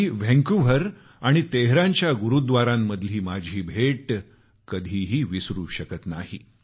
मी Vancouver आणि तेहरानच्या गुरुद्वारांमधील माझी भेट कधी विसरू शकत नाही